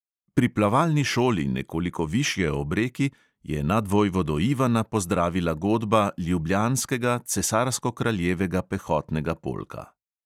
Pri plavalni šoli, nekoliko višje ob reki, je nadvojvodo ivana pozdravila godba ljubljanskega cesarsko-kraljevega pehotnega polka.